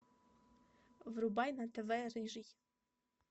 врубай на тв рыжий